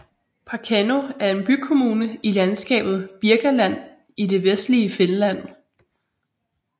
Parkano er en bykommune i landskabet Birkaland i det vestlige Finland